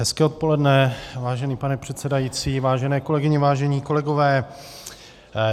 Hezké odpoledne, vážený pane předsedající, vážené kolegyně, vážení kolegové.